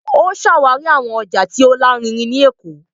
O ṣawari awọn ọja ti o larinrin tí Ékò